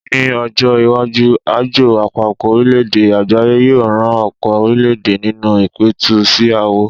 Ní ọjọ́-iwájú, Àjọ Àpapọ̀-orílẹ̀-èdè Àgbáyé yóò ran ọ̀pọ̀ orílẹ̀-èdè nínú ìpẹ̀tù sí aáwọ̀.